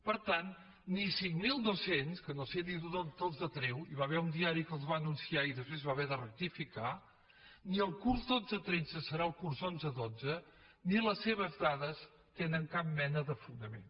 per tant ni cinc mil dos cents que no sé ni d’on els treu hi va haver un diari que els va anunciar i després va haver de rectificar ni el curs dotze tretze serà el curs onze dotze ni les seves dades tenen cap mena de fonament